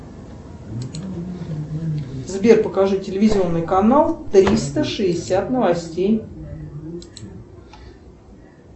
сбер покажи телевизионный канал триста шестьдесят новостей